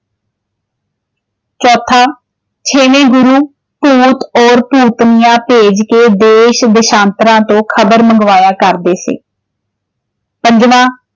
ਚੌਥਾ, ਛੇਵੇਂ ਗੁਰੂ ਭੂਤ ਔਰ ਭੂਤਨੀਆਂ ਭੇਜ ਕੇ ਦੇਸ਼ ਦੇਸ਼ਾਤਰਾਂ ਤੋਂ ਖਬਰ ਮੰਗਵਾਇਆ ਕਰਦੇ ਸੀ। ਪੰਜਵਾਂ